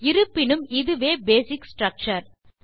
இருப்பினும் இதுவே basic structure